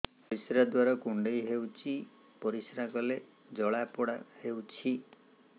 ପରିଶ୍ରା ଦ୍ୱାର କୁଣ୍ଡେଇ ହେଉଚି ପରିଶ୍ରା କଲେ ଜଳାପୋଡା ହେଉଛି